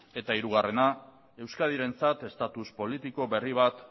eta hirugarrena euskadirentzat status politiko berri bat